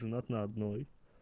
женат на одной